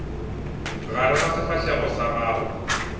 gare ga sefahlego sa gago